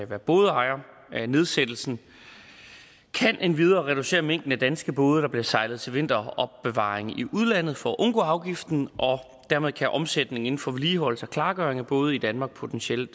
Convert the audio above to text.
være bådejer nedsættelsen kan endvidere reducere mængden af danske både der bliver sejlet til vinteropbevaring i udlandet for at undgå afgiften og dermed kan omsætningen inden for vedligeholdelse og klargøring af både i danmark potentielt